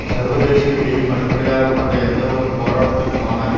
சர்வதேசியத்தையும் அடிப்படையாக கொண்ட எந்தவொரு போராட்டத்துக்குமான